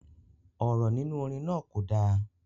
Ọ̀rọ̀ nínú orin náà kò dá